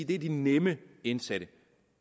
det er de nemme indsatte